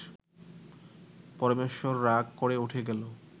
পরমেশ্বর রাগ করে উঠে গেল